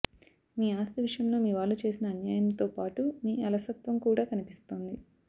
మీ ఆస్తి విషయంలో మీవాళ్లు చేసిన అన్యాయంతోపాటూ మీ అలసత్వం కూడా కనిపిస్తోంది